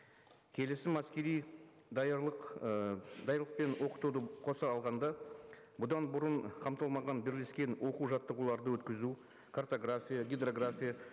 келісім әскери даярлық і даярлық пен оқытуды қоса алғанда бұдан бұрын қамтылмаған бірлескен оқу жаттығуларды өткізу картография гидрография